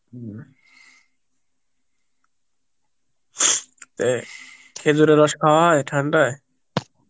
উম এ খেজুরের রস খাওয়া হয় ঠান্ডায়?